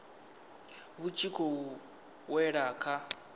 vhu tshi khou wela kha